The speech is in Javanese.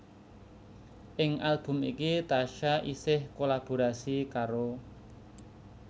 Ing album iki Tasya isih kolaborasi karo